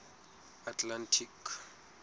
atlantic